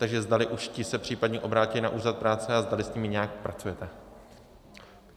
Takže zdali už ti se případně obrátili na úřad práce a zdali s nimi nějak pracujete.